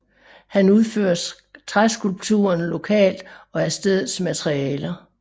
Han udfører træskulpturerne lokalt og af stedets materialer